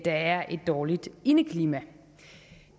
er et dårligt indeklima